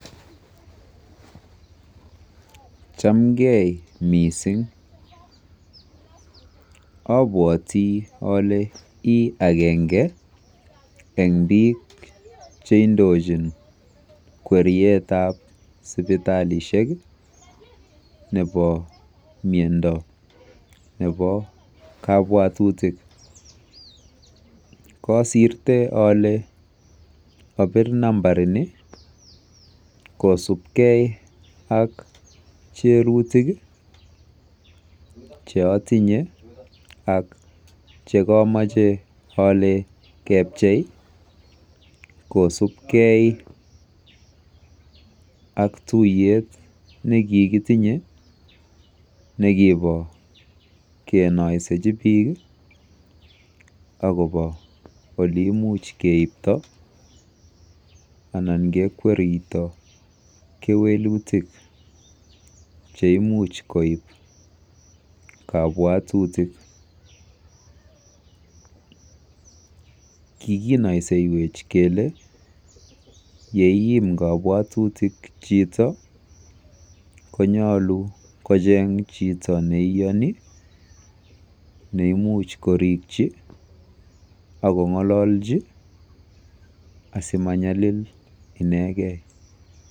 chamgee mising obwotii ole iih agenge en biik cheindochin kweryeet ab sipitalishek iih nebo myondo nebo kobwotutik, kosirte ole obiir nambariit nii kosubgee ak cherutik iih cheotinye ak chegomoche ole kepchei kosuub kee ak tuyeet negigitinye negibo kenoisechi biik ak kobo oleimuch keiibto anan kekwerito kewelutik cheimuch koib kobwotutik, kiginoisewech kele yeiim kopwotutik chito, konyolu kocheng chito neiyoni neimuch korikchi ago ngolochi asimanyalil inegei.